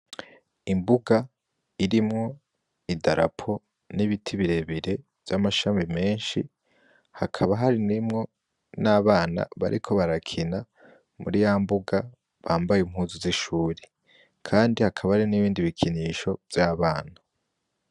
Imbuga irimwo idarapo n'ibiti birebire vy'amashami menshi, hakaba harimwo n'abana bariko barakina muri ya mbuga bambaye impuzu z'ishure, Kandi hakaba hari n'ibindi bikinisho vy'abana.